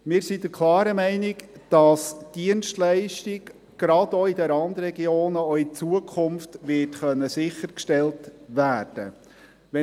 Wir sind der klaren Meinung, dass die Dienstleistung gerade auch in den Randregionen auch in Zukunft sichergestellt werden kann.